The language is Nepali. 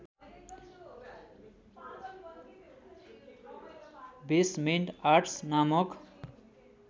बेसमेन्ट आर्टस् नामक